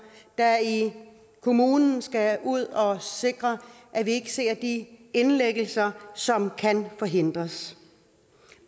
der i kommunen skal ud og sikre at vi ikke ser de indlæggelser som kan forhindres